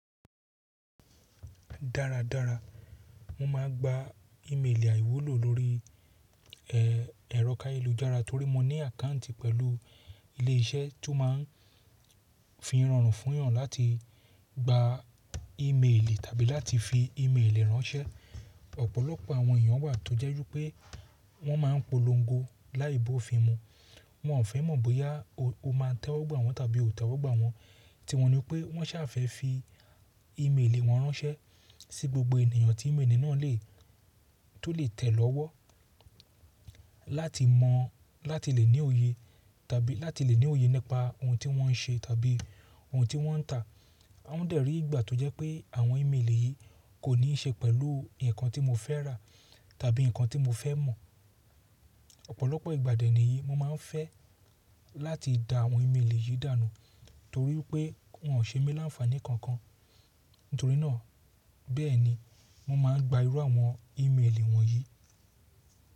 Dára dára, mo máa ń gba ìméélì àìwúlò lórí ẹ̀rọ káyelùjára torí mo ní àkáǹtì pẹ̀lú ilé iṣẹ́ tó máa ń fi rorun fún eeyan láti gba ìméélì tàbí láti fi ìméélì ránṣẹ́. Ọ̀pọ̀lọpọ̀ àwọn èèyàn wà tó jẹ́ wipé wọ́n máa ń polongo láì ba ofin mu. Wọn fe mọ̀ bóyá o máa tẹ́wọ́gbà wọ́n tàbí ò tẹ́wọ́gbà wọ́n, tí wọ́n ní pé wọ́n ṣà fé fi ìméélì wọ́n ránṣẹ́ sí gbogbo ènìyàn tí ìméélì náà le tó le tẹ̀ lọ́wọ́ láti lè ní òye láti lè ní òye nípa ohun tí wọ́n ń ṣe tàbí ohun tí wọ́n ń ta. Won dẹ̀rí ìgbà tó jẹ́ pé àwọn ìméélì yìí kò ní ṣe pẹ̀lú nǹkan tí mo fẹ́ rà tàbí nǹkan tí mo fẹ́ mọ̀. Ọ̀pọ̀lọpọ̀ ìgbà dẹ́nì niyìí, mo máa ń fẹ́ láti da àwọn ìméélì yìí dànù torí pé wọ́n ò ṣé mi láǹfàaní kankan. Nítorí náà, bẹ́ẹ̀ni, mo máa ń gba irú àwọn ìméélì wọ̀nyí.